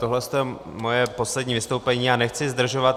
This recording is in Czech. Tohle je moje poslední vystoupení, já nechci zdržovat.